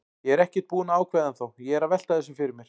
Ég er ekkert búinn að ákveða ennþá, ég er að velta þessu fyrir mér.